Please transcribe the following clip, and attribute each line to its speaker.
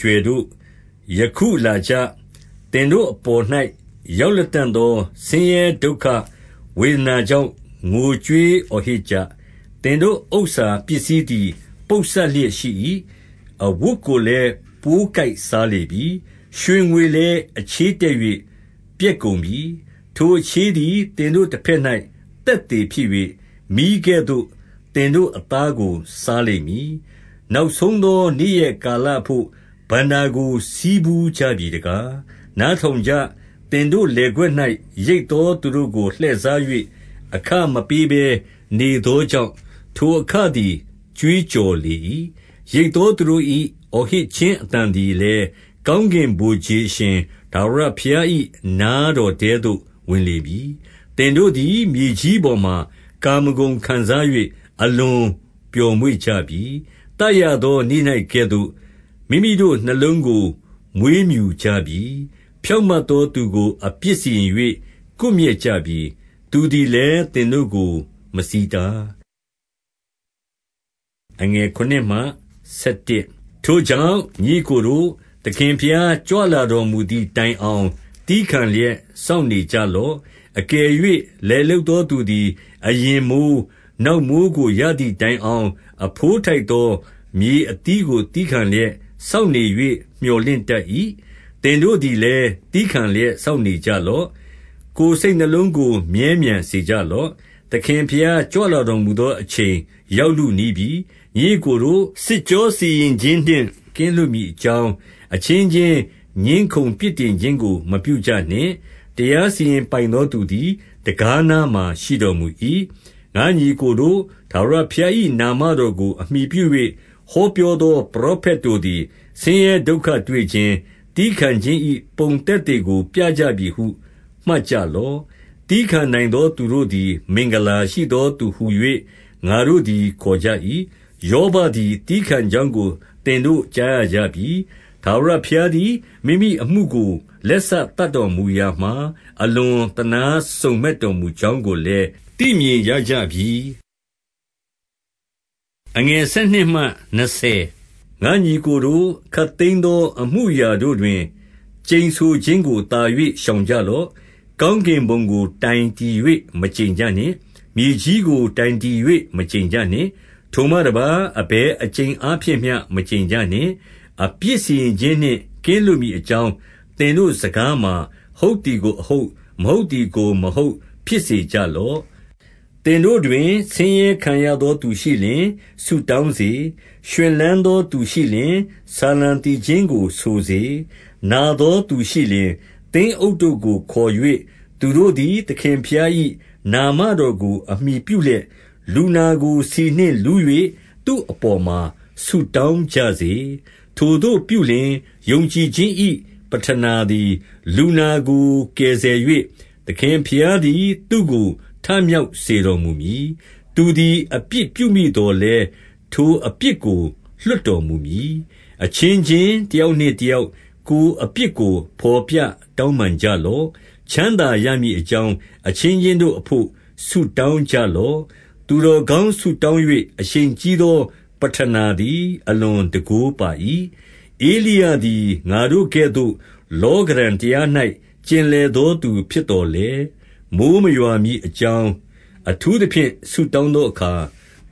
Speaker 1: ကြွယ်တို့၊ ယခုလာကြ၊ သင်တို့အပေါ်၌ ရောက်လတံ့သော ဆင်းရဲဒုက္ခဝေဒနာ ကြောင့် ငိုကြွေးအော်ဟစ်ကြ။ သင်တို့ဥစ္စာပစ္စည်းသည် ပုပ်စပ်လျက်ရှိ၏။ အဝတ်ကိုလည်း ပိုးကိုက်စားလေပြီ။ ရွှေငွေလည်းအချေးတက်၍ ပျက်ကုန်ပြီ။ ထိုအချေးသည် သင်တို့တဘက်၌ သက်သေဖြစ်၍၊ မီးကဲ့သို့ သင်တို့အသားကိုစားလိမ့်မည်။ နောက်ဆုံးသောနေ့ရက်ကာလအဘို့ဘဏ္ဍာကို ဆည်းဖူးကြပြီတကား၊ နားထောင်ကြ၊ သင်တို့လယ်ကွက်၌ ရိတ်သောသူတို့ကို လှည့်စား၍၊ အခမပေးဘဲနေသောကြောင့်၊ ထိုအခသည် ကြွေးကြော်လေ၏။ ရိတ်သောသူတို့၏ အော်ဟစ်ခြင်းအသံသည်လည်း၊ ကောင်းကင်ဗိုလ်ခြေ အရှင်ထာဝရဘုရား၏ နားတော်ထဲသို့ဝင်လေပြီ။ သင်တို့သည်မြေကြီးပေါ်မှာ ကာမဂုဏ်ခံစား၍ အလွန်ပျော်မွေ့ကြပြီ။ သတ်ရသောနေ့၌ကဲ့သို့၊ မိမိတို့ နှလုံးကို မွေးမြူကြပြီ။ ဖြောင့်မတ်သောသူကို အပြစ်စီရင်၍ ကွပ်မျက်ကြပြီ။ သူသည်လည်း သင်တို့ကို မဆီးတား။ ထိုကြောင့်၊ ညီအစ်ကိုတို့၊ သခင်ဘုရားကြွလာတော်မူသည်တိုင်အောင် သည်းခံလျက် စောင့်နေကြ လော့။ အကယ်၍လယ်လုပ်သော သူသည်အရင်မိုဃ်း၊ နောက်မိုဃ်းကိုရသည်တိုင်အောင်၊ အဘိုးထိုက်သော မြေအသီးကို သည်းခံလျက် စောင့်နေ၍ မြော်လင့်တတ်၏။ သင်တို့သည်လည်း သည်းခံလျက်စောင့် နေကြလော့။ ကိုယ်စိတ် နှလုံးကိုမြဲမြံစေကြလော့။ သခင်ဘုရား ကြွလာတော်မူသောအချိန်ရောက်လုနီးပြီ။ ညီအစ်ကိုတို့၊ စစ်ကြောစီရင်ခြင်းနှင့် ကင်းလွတ်မည်အကြောင်း၊ အချင်းချင်းငြင်းခုံပြစ်တင်ခြင်းကို မပြုကြနှင့်။ တရားစီရင် ပိုင်သောသူသည် တံခါးနားမှာ ရှိတော်မူ၏။ ငါ့ညီအစ်ကိုတို့၊ ထာဝရဘုရား၏ နာမတော်ကို အမှီပြု၍ ဟောပြောသော ပရောဖက်တို့သည် ဆင်းရဲ ဒုက္ခတွေ့ခြင်း၊ သည်းခံခြင်း၏ ပုံသက်သေကို ပြကြပြီဟုမှတ်ကြလော့။ သည်းခံနိုင်သောသူတို့သည် မင်္ဂလာရှိသောသူဟူ၍ ငါတို့သည် ခေါ်ကြ၏။ ယောဘသည် သည်းခံ ကြောင်းကို သင်တို့ကြားရကြပြီ။ ထာဝရဘုရားသည် မိမိအမှုကို လက်စသတ်တော်မူရာမှာ အလွန်သနား စုံမက်တော်မူကြောင်းကိုလည်း သိမြင်ရကြပြီ။ ငါ့ညီအစ်ကိုတို့၊ ခပ်သိမ်းသောအမှုအရာတို့တွင် ကျိန်ဆိုခြင်းကိုသာ၍ ရှောင်ကြလော့။ ကောင်းကင်ဘုံကို တိုင်တည်၍ မကျိန်ကြနှင့်။ မြေကြီးကိုတိုင်တည်၍ မကျိန်ကြနှင့်။ ထိုမှတပါး၊ အဘယ်အကျိန်အားဖြင့်မျှ မကျိန်ကြနှင့်။ အပြစ်စီရင်ခြင်းနှင့် ကင်းလွတ်မည်အကြောင်း၊ သင်တို့စကားမှာ၊ ဟုတ်သည်ကို အဟုတ်၊ မဟုတ်သည်ကို မဟုတ်ဖြစ်စေကြလော့။ သင်တို့တွင် ဆင်းရဲခံရသောသူရှိလျှင် ဆုတောင်းစေ။ ရွှင်လန်းသောသူရှိလျှင် ဆာလံသီချင်း ကိုဆိုစေ။ နာသောသူရှိလျှင်၊ သင်းအုပ်ကိုခေါ်၍ သူတို့ သည် သခင်ဘုရား၏ နာမတော်ကို အမှီပြုလျက်၊ လူနာကိုဆီနှင့်လူး၍ သူ့အပေါ်မှာ ဆုတောင်းကြစေ။ ထိုသို့ပြုလျှင်၊ ယုံကြည်ခြင်း၏ပဌနာသည် လူနာကို ကယ်ဆယ်၍၊ သခင်ဘုရားသည် သူ့ကိုထ မြောက်စေတော်မူမည်။ သူသည်အပြစ် ပြုမိသော်လည်း ထိုအပြစ်ကို လွှတ်တော်မူမည်။ အချင်းချင်းတယောက်နှင့်တယောက်၊ ကိုယ်အပြစ်ကို ဘော်ပြတောင်းပန်ကြလော့။ ချမ်းသာရမည် အကြောင်း၊ အချင်းချင်းတို့အဘို့ ဆုတောင်းကြလော့။ သူတော်ကောင်းဆုတောင်း၍ အရှိန်ကြီး သောပဌနာ သည် အလွန်တန်ခိုးပါ၏။ ဧလိယသည် ငါတို့ကဲ့သို့ လောကဓံတရား၌ ကျင်လည်သောသူဖြစ်သော်လည်း၊ မိုဃ်းမရွာမည် အကြောင်း အထူးသဖြင့် ဆုတောင်းသောအခါ၊